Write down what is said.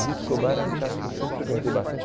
O Ruth Scobar é um teatro que eu sempre frequentei bastante.